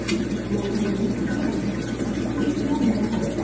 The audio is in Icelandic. Nú er kominn nýr þjálfari hjá ykkur, hvernig líst mönnum á hann?